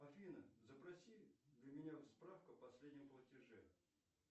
афина запроси для меня справку о последнем платеже